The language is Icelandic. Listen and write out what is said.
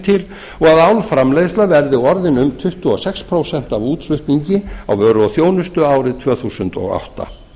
til og að álframleiðsla verði orðin um tuttugu og sex prósent af útflutningi á vörum og þjónustu árið tvö þúsund og átta